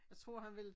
Jeg tror han ville